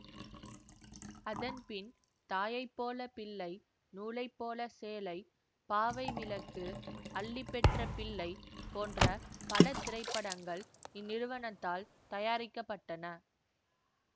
அதன் பின் தாயை போல பிள்ளை நூலைப்போல சேலை பாவை விளக்கு அல்லி பெற்ற பிள்ளை போன்ற பல திரைப்படங்கள் இந்நிறுவனத்தால் தயாரிக்க பட்டன